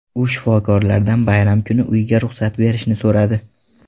U shifokorlardan bayram kuni uyiga ruxsat berishni so‘radi.